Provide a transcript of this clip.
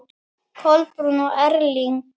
Kolbrún og Erling.